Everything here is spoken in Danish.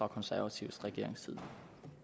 og konservatives regeringstid